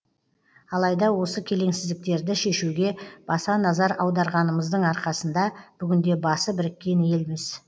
алайда осы келеңсіздіктерді шешуге баса назар аударғанымыздың арқасында бүгінде басы біріккен елміз